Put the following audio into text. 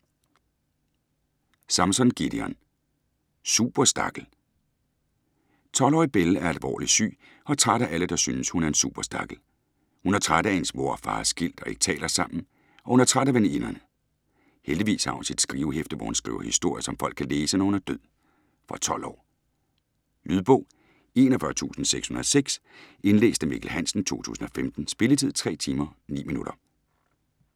Samson, Gideon: Superstakkel! 12-årige Belle er alvorligt syg og træt af alle der synes, hun er en superstakkel. Hun er træt af hendes mor og far er skilt og ikke taler sammen, og hun er træt af veninderne. Heldigvis har hun sit skrivehæfte, hvor hun skriver historier, som folk kan læse, når hun er død. Fra 12 år. Lydbog 41606 Indlæst af Mikkel Hansen, 2015. Spilletid: 3 timer, 9 minutter.